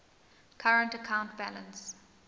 current account balance